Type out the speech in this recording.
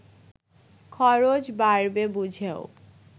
খরচ বাড়বে বুঝেও